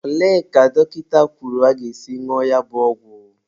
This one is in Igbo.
Olee ka dọkịta kwuru aga-esi ñụọ ya bụ ọgwụ?